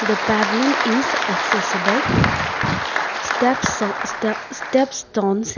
the pavilion is accessible steps stop step stones.